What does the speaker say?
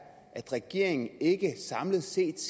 at regeringen samlet set